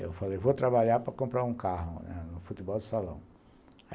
Eu falei, vou trabalhar para comprar um carro no futebol de salão.